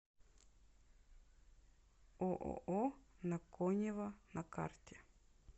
ооо на конева на карте